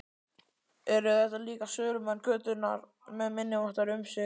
Eru þetta líka sölumenn götunnar með minniháttar umsvif?